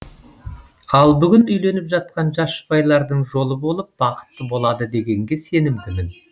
ал бүгін үйленіп жатқан жас жұбайлардың жолы болып бақытты болады дегенге сенімдімін